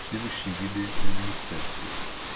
следующие виды люминесценции